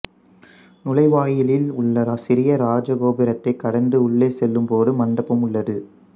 நுழைவாயிலில் உள்ள சிறிய ராஜ கோபுரத்தைக் கடந்து உள்ளே செல்லும்போது மண்டபம் உள்ளது